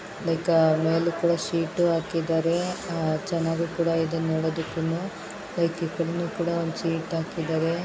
Like ಮೇಲ್ಗಡೆ sheet ಹಾಕಿದ್ದಾರೆ ಆ ಚೆನ್ನಾಗಿ ಕೂಡ ಇದೆ ನೋಡೋದಕ್ಕುನು ಲೈಕ್ ಈ ಕಡೆನೂ ಕೂಡ ಒಂದು ಶೀಟ್ ಹಾಕಿದ್ದಾರೆ.